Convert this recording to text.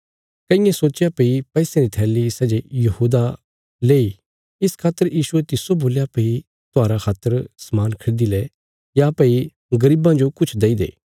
कईयें सोचया भई पैसयां री थैली सै जे यहूदा लेई इस खातर यीशुये तिस्सो बोल्या भई त्योहारा खातर समान खरीदी ले या भई गरीबां जो किछ दई दे